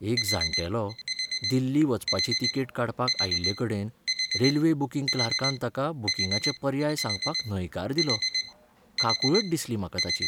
एक जाण्टेलो दिल्ली वचपाची तिकेट काडपाक आयिल्लेकडेन रेल्वे बूकिंग क्लार्कान ताका बूकिंगाचे पर्याय सांगपाक न्हयकार दिलो, काकुळट दिसली म्हाका ताची.